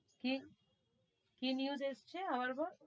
কি কি news এসছে? আবার বল,